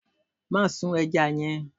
Má sun eja yẹn.